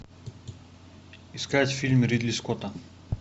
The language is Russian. искать фильм ридли скотта